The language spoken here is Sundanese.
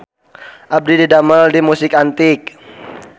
Abdi didamel di Musik Antik